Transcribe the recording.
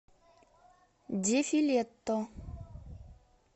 дефилетто